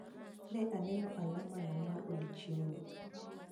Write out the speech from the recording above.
Ne aneno alamano mar odiechieng'no